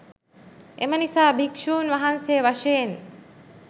එම නිසා භික්‍ෂූන් වහන්සේ වශයෙන්